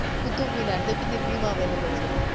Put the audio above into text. કુત્તુમ્બ મીનાર જે દીલ્લી માં આવેલ છે.